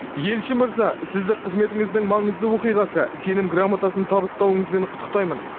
елші мырза сізді қызметіңіздің маңызды оқиғасы сенім грамотасын табыстауыңызбен құттықтаймын